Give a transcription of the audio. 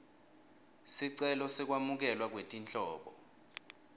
sicelo sekwamukelwa kwetinhlobo